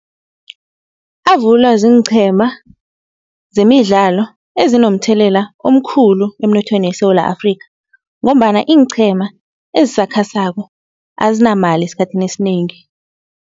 Avulwa ziinqhema zemidlalo ezinomthelela omkhulu emnothweni weSewula Afrikha ngombana iinqhema ezisakhasako azinamali esikhathini esinengi.